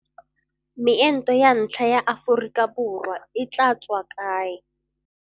Meento ya ntlha ya Aforika Borwa e tla tswa kae?